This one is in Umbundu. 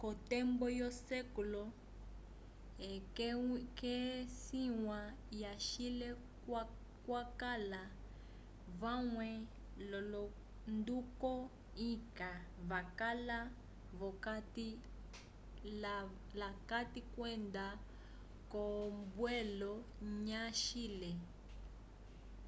ko tembo yo sec xvi ke sinya ya chile kwakala vamwe lolonduko inca vakala vokati la kati kwenda ko mbwelo ya chile